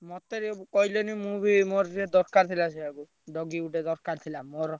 ମତେ ଟିକେ କହିଲନି ମୁଁ ବି ମୋର ସିଏ ଦରକାର ଥିଲା doggy ଗୋଟେ ଦରକାର ଥିଲା ମୋର।